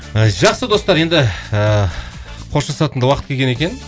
ы жақсы достар енді ыыы қоштасатын да уақыт келген екен